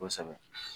Kosɛbɛ